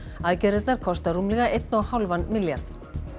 aðgerðirnar kosta rúmlega einn og hálfan milljarð